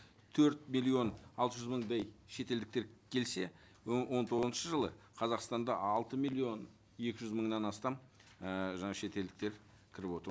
төрт миллион алты жүз мыңдай шетелдіктер келсе он тоғызыншы жылы қазақстанда алты миллион екі жүз мыңнан астам і жаңа шетелдіктер кіріп отыр